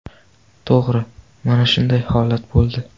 To‘g‘ri, mana shunday holat bo‘ldi.